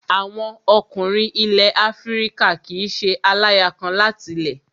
Àwọn ọkùnrin ilẹ̀ Afíríkà kìí ṣe aláya kan láti lẹ̀